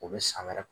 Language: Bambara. U bɛ san wɛrɛ